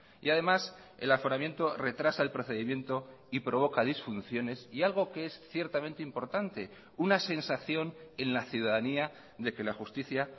y además el aforamiento retrasa el procedimiento y provoca disfunciones y algo que es ciertamente importante una sensación en la ciudadanía de que la justicia